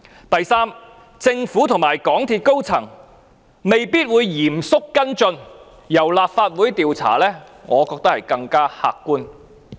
第三，政府和港鐵公司高層未必會嚴肅跟進，但由立法會進行調查，我認為更為客觀。